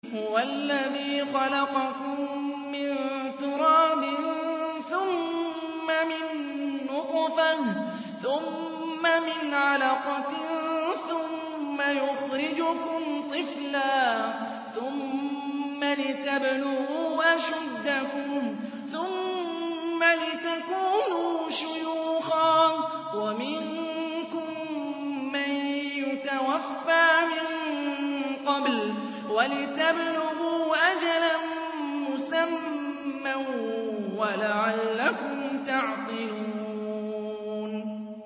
هُوَ الَّذِي خَلَقَكُم مِّن تُرَابٍ ثُمَّ مِن نُّطْفَةٍ ثُمَّ مِنْ عَلَقَةٍ ثُمَّ يُخْرِجُكُمْ طِفْلًا ثُمَّ لِتَبْلُغُوا أَشُدَّكُمْ ثُمَّ لِتَكُونُوا شُيُوخًا ۚ وَمِنكُم مَّن يُتَوَفَّىٰ مِن قَبْلُ ۖ وَلِتَبْلُغُوا أَجَلًا مُّسَمًّى وَلَعَلَّكُمْ تَعْقِلُونَ